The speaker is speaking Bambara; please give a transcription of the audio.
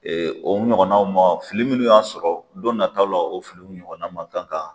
o ɲɔgɔn ma, fili munnu y'an sɔrɔ don nan taw la, o fili ɲɔgɔn na makan ka.